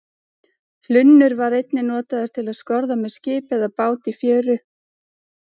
hlunnur var einnig notaður til að skorða með skip eða bát í fjöru